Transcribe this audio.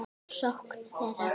sókn þeirra?